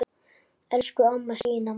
Elsku amma Stína Mass.